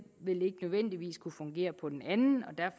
vil ikke nødvendigvis kunne fungere på den anden